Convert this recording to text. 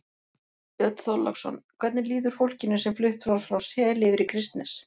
Björn Þorláksson: Hvernig líður fólkinu sem flutt var frá Seli yfir í Kristnes?